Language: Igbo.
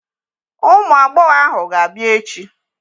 Ụmụ agbọghọ ahụ ga-abịa echi.